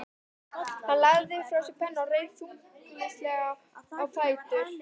Hann lagði frá sér pennann og reis þyngslalega á fætur.